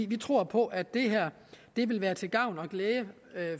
vi tror på at det her vil være til gavn og glæde